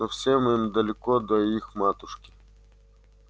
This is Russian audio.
но всем им далеко до их матушки